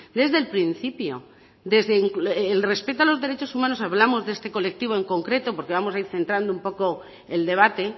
desde el principio desde el respeto a los derechos humanos hablamos de este colectivo en concreto porque vamos a ir centrando un poco el debate